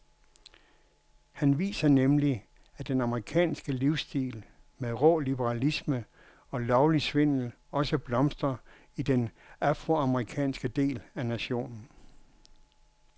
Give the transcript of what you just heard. Han viser nemlig at den amerikanske livsstil med rå liberalisme og lovlig svindel også blomstrer i den afroamerikanske del af nationen.